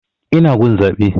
Ina gun zaɓe